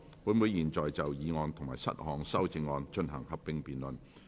本會現在就議案及7項修正案進行合併辯論。